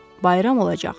Bayram olacaq.